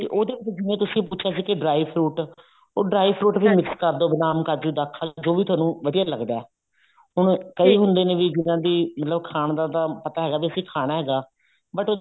ਤੇ ਉਹਦੇ ਜਿਵੇਂ ਤੁਸੀਂ ਪੁੱਛਿਆ ਸੀ ਕੀ dry fruit ਉਹ dry fruit ਵੀ mix ਕਰਦੋ ਬਦਾਮ ਕਾਜੂ ਦਾਖਾਂ ਜੋ ਵੀ ਤੁਹਾਨੂੰ ਵਧੀਆ ਲੱਗਦਾ ਹੁਣ ਕਈ ਹੁੰਦੇ ਨੇ ਵੀ ਜਿਹਨਾ ਦੀ ਵੀ ਖਾਣ ਦਾ ਪਤਾ ਹੈਗਾ ਵੀ ਅਸੀਂ ਖਾਣਾ ਹੈਗਾ but